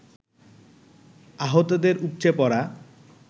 আহতদের উপচে পড়া